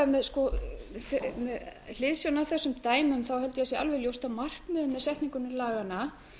með hliðsjón af þessum dæmum held ég að sé alveg ljóst að markmiðunum með setningu laganna